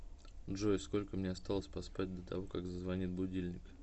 джой сколько мне осталось поспать до того как зазвонит будильник